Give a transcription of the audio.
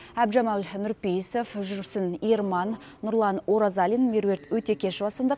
әбдіжәмал нұрпейісов жүрсін ерман нұрлан оразалин меруерт өтекешова сынды